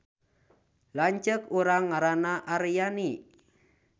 Lanceuk urang ngaranna Aryani